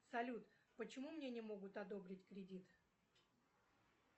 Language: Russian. салют почему мне не могут одобрить кредит